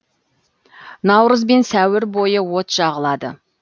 наурыз бен сәуір бойы от жағылады